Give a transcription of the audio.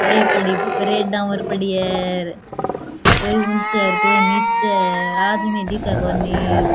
बे पड़ी ब्रेडाँ और पड़ी है अर कोई ऊंचे अर कोई नीचे है अर आदमी कोई दिखे कोणी अर --